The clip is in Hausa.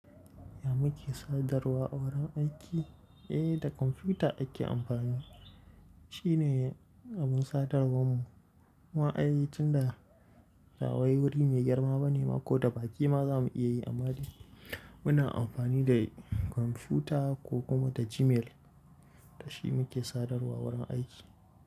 Ya muke sadarwa a wurin aiki? Eh, da kwamfuta ake amfani. Shi ne abin sadarwarmu. Wa'ayi tunda rawaye wuri mai girma bane ma ko da baƙi ma za mu iya yi amadi. Muna amfani da kwamfuta ko kuma ta Gmail. Da shi muke sadarwa a wurin aiki.